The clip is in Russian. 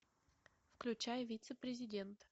включай вице президент